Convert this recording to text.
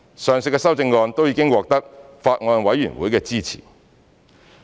上述的修正案都已獲得法案委員會的支持。